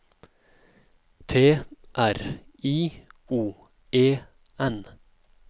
T R I O E N